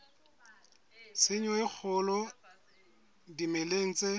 tshenyo e kgolo dimeleng tse